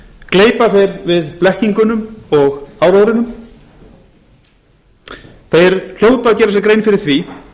gleypa þeir við blekkingunum og áróðrinum þeir hljóta að gera sér grein fyrir því